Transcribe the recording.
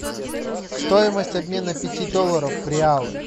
стоимость обмена пяти долларов в реалы